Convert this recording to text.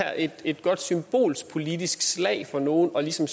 er et godt symbolsk politisk slag for nogle ligesom